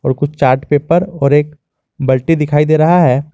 और कुछ chart paper और एक बल्टी दिखाई दे रहा है।